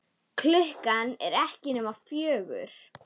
Klukkan er ekki nema fjögur.